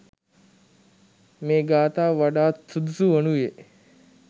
මේ ගාථාව වඩාත් සුදුසු වනුයේ